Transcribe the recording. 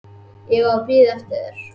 Ég er að bíða eftir þér.